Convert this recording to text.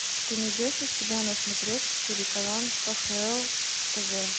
ты найдешь у себя на смотрешке телеканал кхл тв